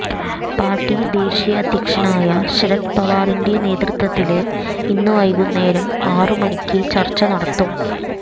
party ദേശീയ അധ്യക്ഷനായ ശരദ് പവാറിന്റെ നേതൃത്വത്തില് ഇന്ന് വൈകുന്നേരം ആറു മണിക്ക് ചര്ച്ച നടത്തും